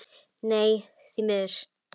Nei, því miður.